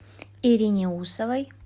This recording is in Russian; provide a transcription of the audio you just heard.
ирине усовой